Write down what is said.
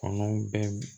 Kɔnɔn bɛɛ